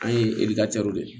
An ye edikasɛriw de